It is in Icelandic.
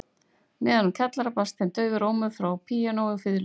Neðan úr kjallara barst þeim daufur ómur frá píanói og fiðlu